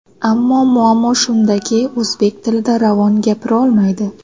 Ammo muammo shundaki, o‘zbek tilida ravon gapirolmaydi.